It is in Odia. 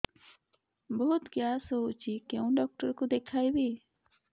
ବହୁତ ଗ୍ୟାସ ହଉଛି କୋଉ ଡକ୍ଟର କୁ ଦେଖେଇବି